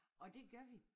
Og det gør vi